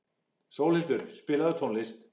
Sólhildur, spilaðu tónlist.